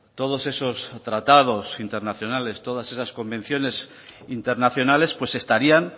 todos esos tratados internacionales todas esas convenciones internacionales pues estarían